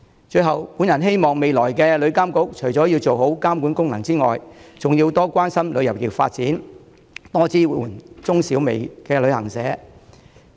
最後，我希望未來的旅監局除了要做好監管功能之外，還要多關心旅遊業發展，多支援中小微旅行社。